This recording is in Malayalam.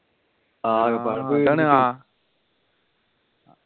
ആകെപ്പാടെ